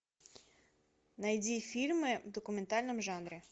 найди фильмы в документальном жанре